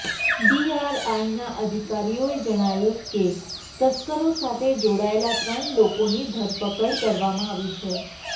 ડીઆરઆઈના અધિકારીઓએ જણાવ્યું કે તસ્કરો સાથે જોડાયેલા ત્રણ લોકોની ધરપકડ કરવામાં આવી છે